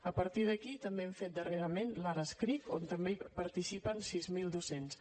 a partir d’aquí també hem fet darrerament l’ ara escric on també participen sis mil docents